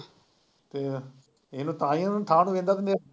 ਇਹ, ਇਹਨੂੰ ਤਾਂਹੀ ਉਨੂੰ ਠਾ ਕੇ ਵਹਿੰਦਾ ਬੰਦੇ।